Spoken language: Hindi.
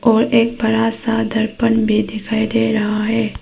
और एक बड़ा सा दर्पण भी दिखाई दे रहा है।